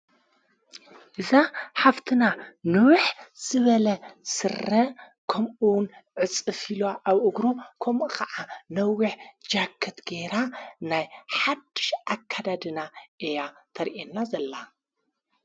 እዛ ሃፍትና ኖውሕ ዝበለ ሠረ ከምኡውን ዕጽፊሉ ኣብኡግሩ ከምኡ ኸዓ ነዊሕ ጃከት ገይራ። ናይ ሓድሽ ኣካዳድና እያ ተርእአና ዘላ።